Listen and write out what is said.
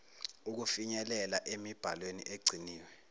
ukufinyelela emibhalweni egciniwe